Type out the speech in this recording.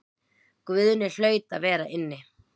Guðni hlaut að vera inni.